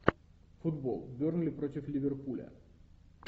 футбол бернли против ливерпуля